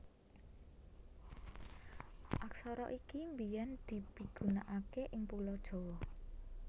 Aksara iki biyèn dipigunakaké ing Pulo Jawa